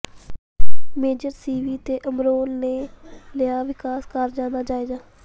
major ਸਿਵੀ ਤੇ ਅਬਰੋਲ ਨੇ ਲਿਆ ਵਿਕਾਸ ਕਾਰਜਾਂ ਦਾ ਜਾਇਜ਼ਾ